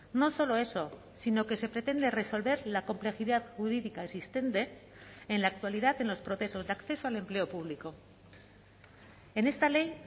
no solo eso sino que se pretende resolver la complejidad jurídica existente en la actualidad en los procesos de acceso al empleo público en esta ley